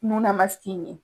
Nunna ye